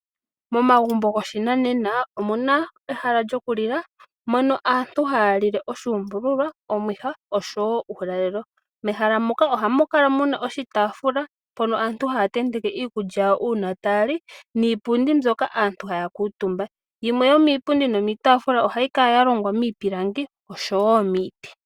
Momagumbo goshinanena omuna ehala lyokulila mpono aantu haya lile oshuumbuluwa, omuha osho woo uulalelo mehala moka ohamu kala muna shitaafula mpo aantu haya tenteke iikulya yawo uuna taya li niipundi mbyoka haya kuutumba. Yimwe yomipundi niitafula ohayi kala yalongwa miipilangi nosho woo miiti.